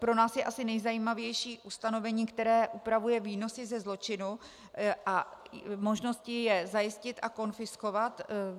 Pro nás je asi nejzajímavější ustanovení, které upravuje výnosy ze zločinu a možnosti je zajistit a konfiskovat.